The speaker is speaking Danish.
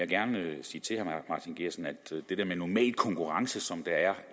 gerne sige til herre martin geertsen at det der med normal konkurrence som der er